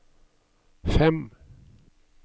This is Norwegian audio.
fem